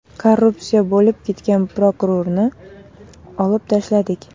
Korrupsiya bo‘lib ketgan prokurorni olib tashladik.